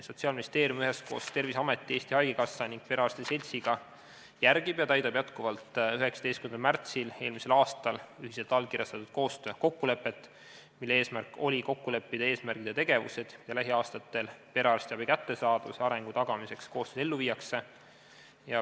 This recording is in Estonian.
Sotsiaalministeerium üheskoos Terviseameti, Eesti Haigekassa ning Eesti Perearstide Seltsiga järgib ja täidab jätkuvalt 19. märtsil eelmisel aastal allkirjastatud koostöökokkulepet, mille eesmärk oli kokku leppida eesmärgid ja tegevused, mida lähiaastatel perearstiabi kättesaadavuse ja arengu tagamiseks koostöös ellu viiakse.